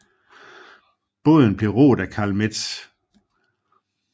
Båden blev roet af Carl Metz